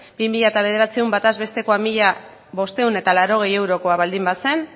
bi mila bederatzi bataz besteko mila bostehun eta laurogei eurokoa baldin bazen